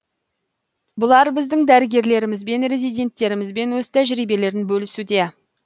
бұлар біздің дәрігерлерімізбен резиденттерімізбен өз тәжірибелерін бөлісуде